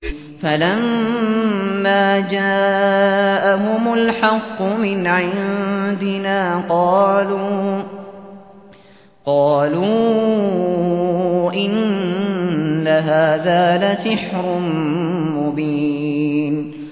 فَلَمَّا جَاءَهُمُ الْحَقُّ مِنْ عِندِنَا قَالُوا إِنَّ هَٰذَا لَسِحْرٌ مُّبِينٌ